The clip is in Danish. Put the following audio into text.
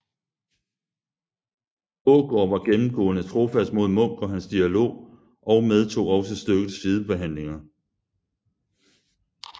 Aagaard var gennemgående trofast mod Munk og hans dialog og medtog også stykkets sidehandlinger